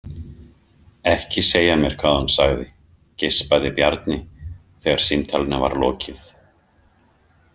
Ekki segja mér hvað hún sagði, geispaði Bjarni þegar símtalinu var lokið.